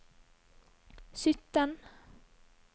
sytten